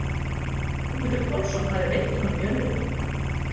Ögmundur Pálsson hafði veitt honum jörðina.